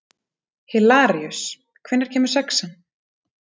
Hilaríus, hvenær kemur sexan?